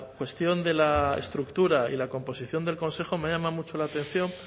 cuestión de la estructura y la composición del consejo me ha llamado mucho la atención